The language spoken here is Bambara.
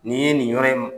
Nin ye nin yɔrɔ in